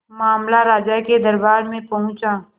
मामला राजा के दरबार में पहुंचा